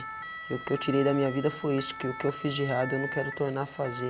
E o que eu tirei da minha vida foi isso, que o que eu fiz de errado eu não quero tornar a fazer.